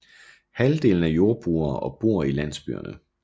Halvdelen er jordbrugere og bor i landsbyerne